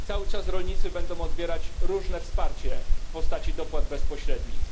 Cały czas rolnicy będą odbierać różne wsparcie w postaci dopłat bezpośrednich.